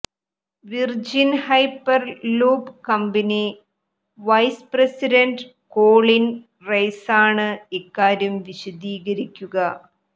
virgin hyperloop company vice president Colin റൈസാണ് ഇക്കാര്യം വിശദീകരിക്കുക